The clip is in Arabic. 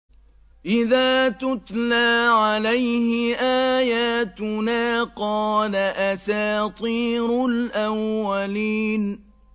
إِذَا تُتْلَىٰ عَلَيْهِ آيَاتُنَا قَالَ أَسَاطِيرُ الْأَوَّلِينَ